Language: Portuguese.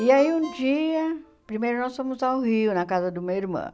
E aí um dia, primeiro nós fomos ao Rio, na casa do meu irmão.